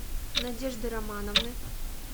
надежды романовны